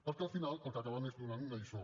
perquè al final el que acaben és donant una lliçó